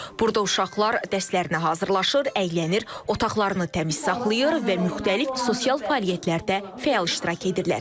Burada uşaqlar dərslərinə hazırlanır, əylənir, otaqlarını təmiz saxlayır və müxtəlif sosial fəaliyyətlərdə fəal iştirak edirlər.